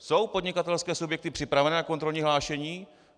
Jsou podnikatelské subjekty připraveny na kontrolní hlášení?